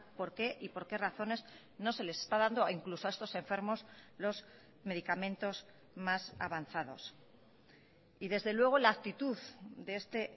por qué y por qué razones no se les está dando incluso a estos enfermos los medicamentos más avanzados y desde luego la actitud de este